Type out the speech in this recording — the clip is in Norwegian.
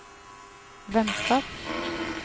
vennskap